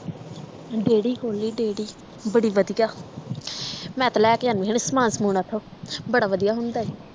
ਡੇਹਰੀ ਖੋਲੀ ਡੇਹਰੀ ਬੜੀ ਵਧੀਆ ਮੈਂ ਤਾਂ ਲੈ ਕੇ ਆਉਣੀ ਹੁੱਨੀ ਸਮਾਨ ਸਮੂਨ ਓਤੋਂ ਬੜਾ ਵਧੀਆ ਹੁੰਦਾ ਈ